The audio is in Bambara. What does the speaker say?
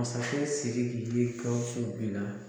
Masakɛ siki ye bin na.